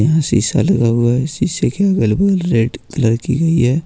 यहां शीशा लगा हुआ है शीशे के अगल बगल रेड कलर की हुई है।